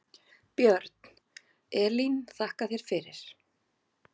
Björn: Elín þakka þér fyrir.